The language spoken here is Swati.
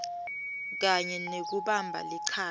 kanye nekubamba lichaza